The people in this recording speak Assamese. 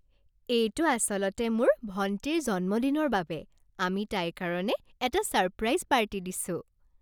এইটো আচলতে মোৰ ভণ্টিৰ জন্মদিনৰ বাবে। আমি তাইৰ কাৰণে এটা ছাৰপ্ৰাইজ পাৰ্টি দিছোঁ।